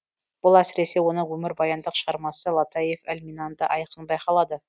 бұл әсіресе оның өмірбаяндық шығармасы латаиф әл минанда айқын байқалады